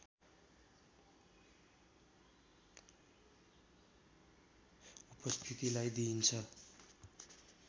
उपस्थितिलाई दिइन्छ